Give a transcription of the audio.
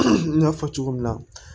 N y'a fɔ cogo min na